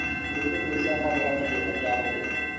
ũrĩmi nĩ ũcagagĩra kĩgĩna gĩa bũrũri